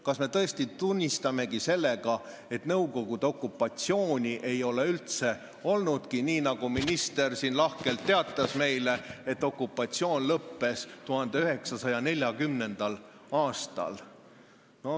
Kas me tõesti tunnistamegi, et Nõukogude okupatsiooni ei ole olnudki, nii nagu minister siin lahkelt meile teatas, et okupatsioon lõppes 1940. aastal?